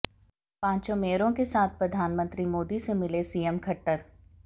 पांचों मेयरों के साथ प्रधानमंत्री मोदी से मिले सीएम खट्टर